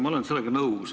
Ma olen sellega nõus.